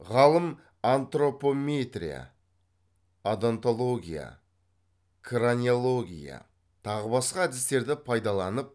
ғалым антропометрия одонтология краниология тағы басқа әдістерді пайдаланып